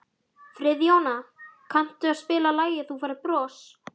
Friðjóna, kanntu að spila lagið „Þú Færð Bros“?